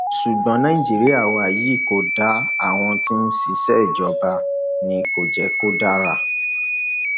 ṣùgbọn nàìjíríà wa yìí kò dáa àwọn tí wọn sì ń ṣèjọba ni kò jẹ kó dára